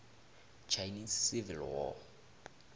chinese civil war